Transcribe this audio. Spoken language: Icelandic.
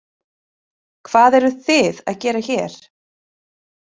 Hvað eruð þið að gera hér?